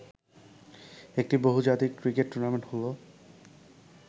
একটি বহুজাতিক cricket tournament হলো